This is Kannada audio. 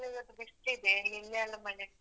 ನಿಮ್ಕಡೆನೂ ಇವತ್ತು ಬಿಸ್ಲಿದೆ ನಿನ್ನೆಯೆಲ್ಲ ಮಳೆ.